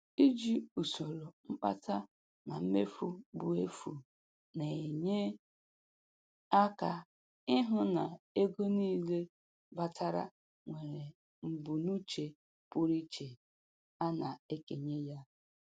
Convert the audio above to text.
Iji usoro mkpata na mmefu bụ efu na-enye aka ịhụ na ego niile batara nwere mbunuche pụrụ iche a na-ekenye ya.